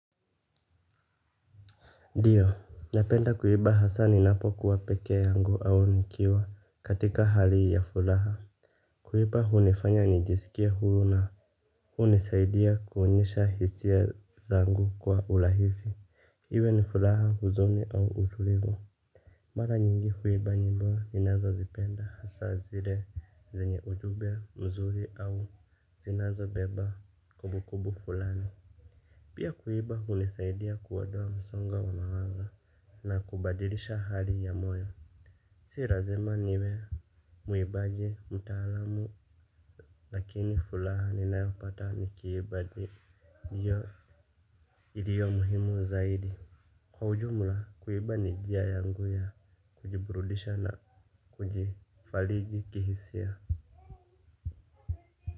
Ndiyo, napenda kuimba hasa ni napo kuwapekee yangu au nikiwa katika hali ya furaha. Kuimba hunifanya nijisikie huru na hunisaidia kuonyesha hisia zangu kwa urahisi. Iwe ni furaha huzuni au utulivu. Mara nyingi uimba nyimbo ninazo zipenda hasa zile zenye ujumbe mzuri au zinazo beba kumbu kumbu fulani. Pia kuimba hunisaidia kuondoa msongo wa mawazo na kubadilisha hali ya moyo. Si lazima niwe mwibaji mtaalamu. Lakini furaha ninayopata nikiimba ndiyo njia iliyo muhimu zaidi. Kwa ujumla kuimba ni njia yangu ya kujibrudisha na kujifariji kihisia.